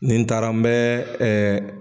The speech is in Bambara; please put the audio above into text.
Nin taara n bɛ